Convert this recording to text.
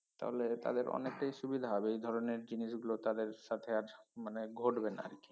তাহলে তাদের অনেকটাই সুবিধা হবে এ ধরনের জিনিসগুলো তাদের সাথে আর মানে ঘটবে না আরকি